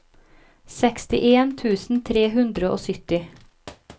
sekstien tusen tre hundre og sytti